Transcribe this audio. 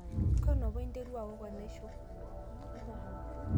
kanu apa iterua owok enaisho?